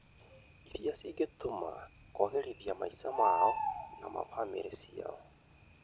irĩa cingĩtũma kũagĩrithia maica mao na ma bamĩrĩ ciao.